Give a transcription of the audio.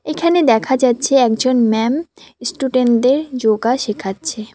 এখানে দেখা যাচ্ছে একজন ম্যাম স্টুডেন্টদের যোগা শেখাচ্ছে।